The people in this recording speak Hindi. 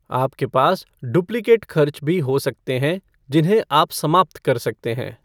आपके पास डुप्लिकेट खर्च भी हो सकते हैं जिन्हें आप समाप्त कर सकते हैं।